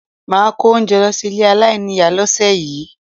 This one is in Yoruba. Máà kó oúnjẹ lọ sí ilé aláìníìyá lọ́sẹ̀ yìí